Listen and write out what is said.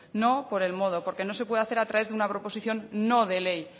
no por el modo no porque no se puede hacer a través de una proposición no de ley